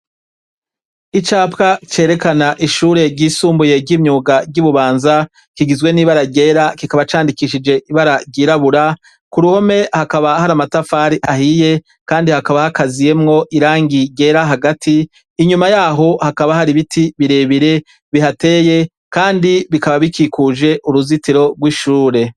Icapwa cerekana ishure ry'isumbuye ry'imyuga ry'Ibubanza kigizwe nibara ryera, kikaba candikishijwe ibara ryirabura, kuruhome hakaba hari amatafari ahiye kandi hakaba hagaziyemwo irangi ryera hagati, inyuma yaho hakaba hari ibiti birebire bihateye kandi bikaba bikikuje uruzitiro rw'ishure.